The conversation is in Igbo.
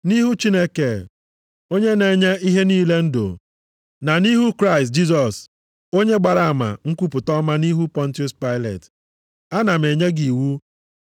Nʼihu Chineke, onye na-enye ihe niile ndụ, na nʼihu Kraịst Jisọs onye gbara ama nkwupụta ọma nʼihu Pọntiọs Pailet. Ana m enye gị iwu